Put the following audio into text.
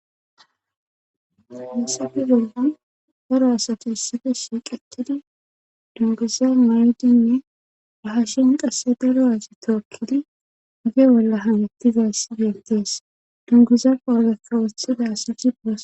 Masabi bollan daro asati issife sinqetidi dunguza maydinne ahashen qasse daro asi tookkidi ge bolla hanettizass dentees dungiza poageka wothida asati.